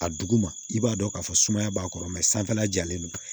A duguma i b'a dɔn k'a fɔ sumaya b'a kɔrɔ mɛ sanfɛla jalen don